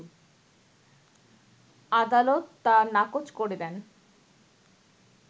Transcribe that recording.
আদালত তা নাকোচ করে দেন